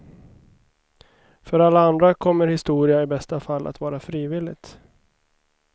För alla andra kommer historia i bästa fall att vara frivilligt.